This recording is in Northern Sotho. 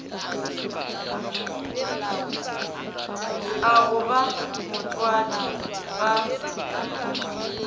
a go ba motswadi ga